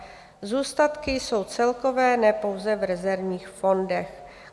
Zůstatky jsou celkové, ne pouze v rezervních fondech.